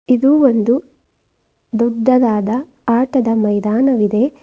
ಇದು ಒಂದು ದೊಡ್ಡದಾದ ಆಟದ ಮೈದಾನವಿದೆ.